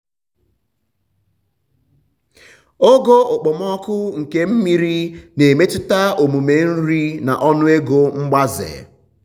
ogo okpomọkụ nke mmiri na-emetụta omume nri na ọnụego mgbaze.